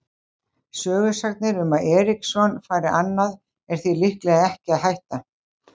Sögusagnir um að Eriksson fari annað er því líklega ekki að hætta.